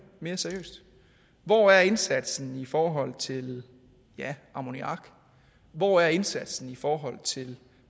mere seriøst hvor er indsatsen i forhold til ammoniak hvor er indsatsen i forhold til